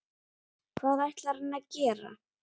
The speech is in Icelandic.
Hvað ætlar hann að gera?